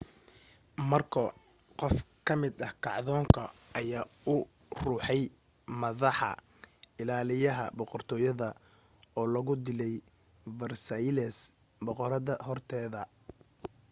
markoo qof ka mid ah kacdoonka ayaa u ruxay maddaxa ilaaliyaha boqortooyada oo lagu dilay versailles boqoradda horteeda